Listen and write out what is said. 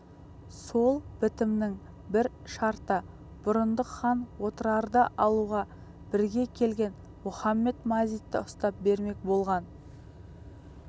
сол бітімнің бір шарты бұрындық хан отырарды алуға бірге келген мұхамед-мазитты ұстап бермек болған